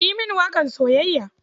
Ka yi mini waƙar soyayya.